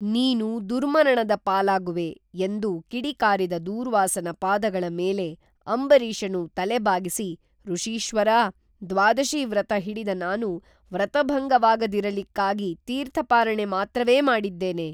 ನೀನು ದುರ್ಮರಣದ ಪಾಲಾಗುವೆ ಎಂದು ಕಿಡಿಕಾರಿದ ದೂರ್ವಾಸನ ಪಾದಗಳ ಮೇಲೆ ಅಂಬರೀಷನು ತಲೆಬಾಗಿಸಿ ಋಷೀಶ್ವರಾ ದ್ವಾದಶೀವ್ರತ ಹಿಡಿದ ನಾನು ವ್ರತಭಂಗವಾಗದಿರಲಿಕ್ಕಾಗಿ ತೀರ್ಥಪಾರಣೆ ಮಾತ್ರವೇ ಮಾಡಿದ್ದೇನೆ